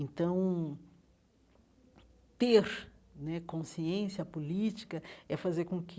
Então, ter né consciência política é fazer com que